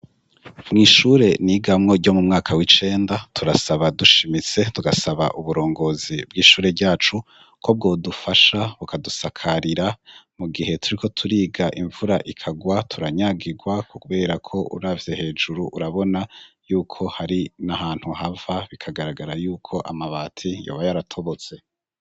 Mw'ishure n'igamwo ryo mu mwaka w'icenda turasaba dushimitse tugasaba uburongozi bw'ishure ryacu ko bwodufasha bukadusakarira mu gihe turi ko turiga imvura ikagwa turanyagirwa ku, kubera ko uravye hejuru urabona yuko hari n'ahantu hava bikagaragara yukoma mabati yobayo aratobotse.